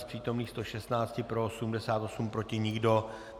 Z Přítomných 116 pro 88, proti nikdo.